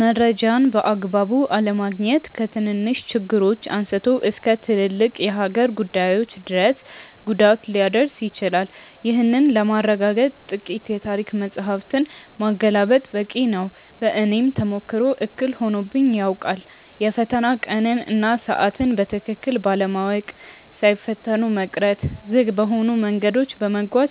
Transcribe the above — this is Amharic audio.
መረጃን በአግባቡ አለማግኘት ከትንንሽ ችግሮች አንስቶ እስከ ትልልቅ የሀገር ጉዳዮች ድረስ ጉዳት ሊያደርስ ይችላል። ይህንን ለማረጋገጥ ጥቂት የታሪክ መጻሕፍትን ማገላበጥ በቂ ነው። በእኔም ተሞክሮ እክል ሆኖብኝ ያውቃል። የፈተና ቀንን እና ሰዓትን በትክክል ባለማወቅ ሳይፈተኑ መቅረት፣ ዝግ በሆኑ መንገዶች በመጓዝ